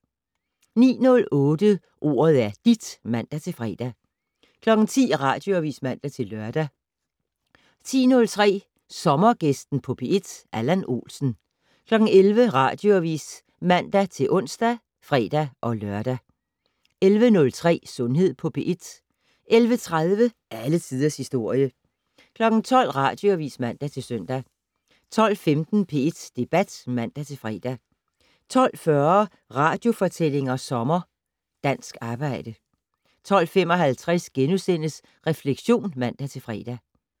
09:08: Ordet er dit (man-fre) 10:00: Radioavis (man-lør) 10:03: Sommergæsten på P1: Allan Olsen 11:00: Radioavis (man-ons og fre-lør) 11:03: Sundhed på P1 11:30: Alle tiders historie 12:00: Radioavis (man-søn) 12:15: P1 Debat (man-fre) 12:40: Radiofortællinger sommer: Dansk arbejde 12:55: Refleksion *(man-fre)